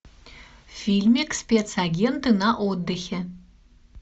фильмик спецагенты на отдыхе